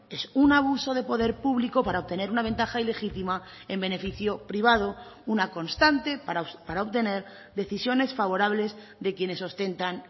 es un abuso de poder público para obtener una ventaja y legítima en beneficio privado una constante para obtener decisiones favorables de quienes ostentan